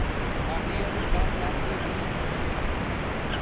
ਸਾਡੀ ਆ ਜਿਹੜੀ ਪਲੱਗ ਥੱਲੇ ਬੰਨੀ ਆ ਮੋਟਰ ਤੇ।